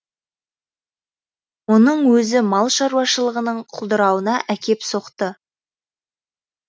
оның өзі мал шаруашылығының құлдырауына әкеп соқты